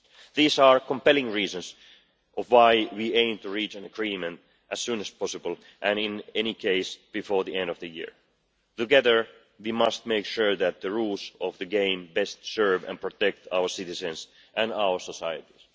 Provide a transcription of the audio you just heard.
These are compelling reasons why we aim to reach an agreement as soon as possible and, in any case before the end of the year. Together we must make sure that the rules of the game best serve and protect our citizens and our societies.